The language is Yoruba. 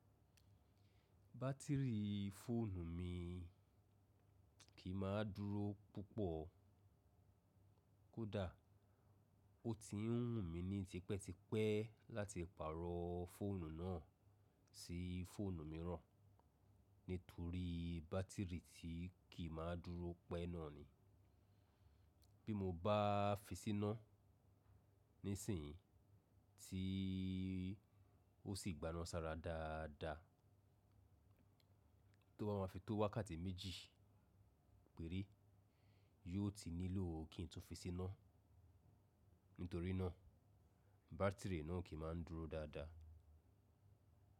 Bátìrì fóònù mi kì í máa dúró púpọ̀. Kódà ó ti wùn mí ní tipẹ́ tipẹ́ láti pààrọ̀ fóònù náà sí fóònù mìíràn nítorí bátìrì tí kì í máa dúró pẹ́ náà ni. Bí mo bá fi síná ní sìn in tí ó sì gbaná sára dáadáa, tó bá ma fi tó wákàtí méjì péré, yóò ti nílò kí ń tún fi síná. Nítorí náà bátìrì náà kì í máa ń dúró dáadáa.